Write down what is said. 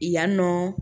Yan nɔ